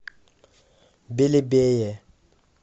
белебее